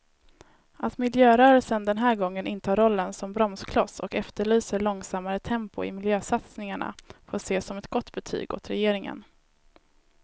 Att miljörörelsen den här gången intar rollen som bromskloss och efterlyser långsammare tempo i miljösatsningarna får ses som ett gott betyg åt regeringen.